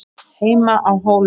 HEIMA Á HÓLUM